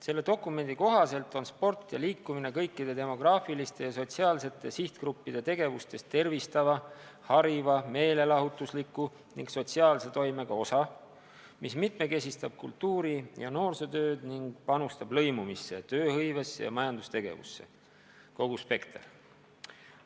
Selle dokumendi kohaselt on sport ja üldse liikumine kõikide demograafiliste ja sotsiaalsete sihtgruppide tegevustes tervistava, hariva, meelelahutusliku ning sotsiaalse toimega osa, mis mitmekesistab kultuuri- ja noorsootööd ning panustab lõimumisse, tööhõivesse ja majandustegevusse – kogu spekter.